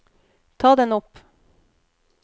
ta den opp